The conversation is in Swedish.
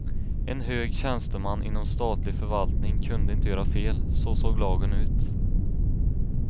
En hög tjänsteman inom statlig förvaltning kunde inte göra fel, så såg lagen ut.